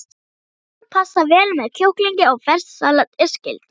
Hrísgrjón passa vel með kjúklingi og ferskt salat er skylda.